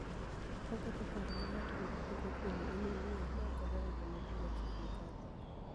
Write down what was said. Oketho paro ma nig'ato niigo kuome eni owuoni maoko dewo joma nii machiegnii kode.